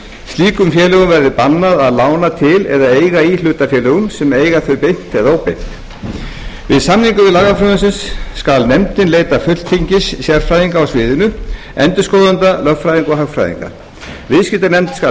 slíkum félögum verði bannað að lána til eða eiga í hlutafélögum sem eiga þau beint eða óbeint við samningu lagafrumvarps skal nefndin leita fulltingis sérfræðinga á sviðinu endurskoðenda lögfræðinga og hagfræðinga viðskiptanefnd skal